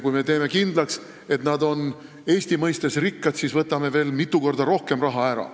Kui me teeme kindlaks, et nad on Eesti mõistes rikkad, siis võtame veel mitu korda rohkem raha ära.